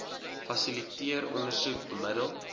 fasiliteer ondersoek bemiddel